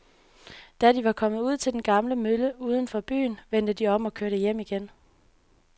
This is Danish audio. Da de var kommet ud til den gamle mølle uden for byen, vendte de om og kørte hjem igen.